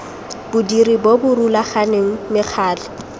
bodiri bo bo rulaganeng mekgatlho